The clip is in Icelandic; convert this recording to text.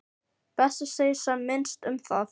Best að segja sem minnst um það.